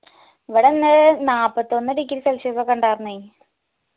ഇവിടെ ഇന്ന് നാല്പത്തൊന്ന് degree celsius ഒക്കെ ഇണ്ടായർന്നേയ്